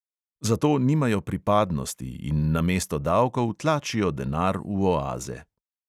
Zato nimajo pripadnosti in namesto davkov tlačijo denar v oaze.